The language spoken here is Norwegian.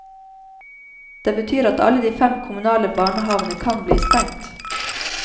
Det betyr at alle de fem kommunale barnehavene kan bli stengt.